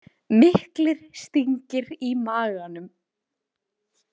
Miklir stingir í maganum.